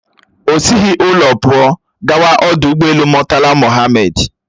O sighi ụlọ pụọ gawa ọdụ ụgbọelu Murtala Mohammed